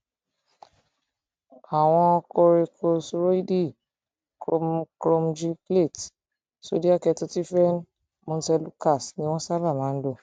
àwọn koríkósíróìdì chromogylcate sódíà ketotifen montelukast ni wọn sábà máa ń lò